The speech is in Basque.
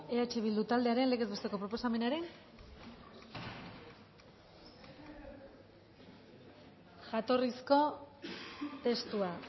eh bildu taldearen legez besteko proposamenaren jatorrizko testua